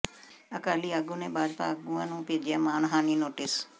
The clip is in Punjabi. ਅਕਾਲੀ ਆਗੂ ਨੇ ਭਾਜਪਾ ਆਗੂਆਂ ਨੂੰ ਭੇਜਿਆ ਮਾਣਹਾਨੀ ਨੋਟਿਸ